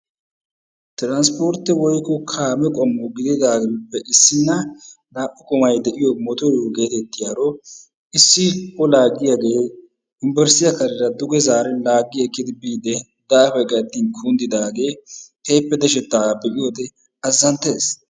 Transpportte woykko kaamee qommo gididaagappe issina naa"u goommay de'iyo mottoriyo issi o laagiyagee unbbursttiya kareera duge zaaridi laagi ekkidi biide daafay gayttin kunddiddaagee keehippe deshetaaga be'iyode azzanttees.